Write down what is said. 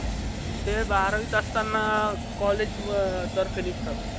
ते बारावीत असताना college तर्फे निघत